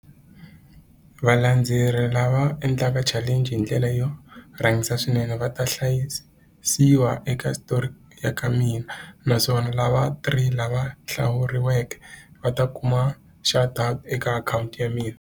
Valandzeri lava endlaka challenge hi ndlela yo rhangisa swinene va ta hlayisiwa eka switori ka mina naswona lava three lava hlawuriweke va ta kuma eka akhawunti ya mina.